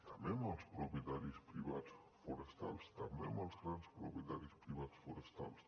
també amb els propietaris privats forestals també amb els grans propietaris privats forestals